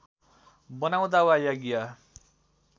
बनाउँदा वा यज्ञ